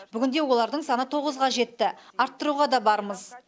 бүгінде олардың саны тоғызға жетті арттыруға да бармыз